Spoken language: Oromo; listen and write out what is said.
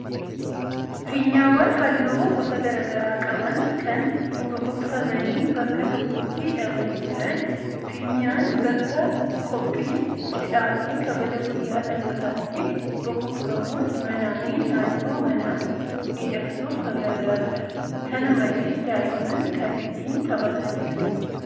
Fiinyaawwan halluu gosa garaa garaa qaban kan bokokfamanii bakka tokkotti hidhamanii jiran. Fiinyaan bakka qophiin cidhaa fi kabaja guyyaa dhalootaatti bokokfamuun manaa fi naannoo manaa miidhagsuuf kan gargaarudha. Kana malees daa'imman kan ittiin taphatanidha.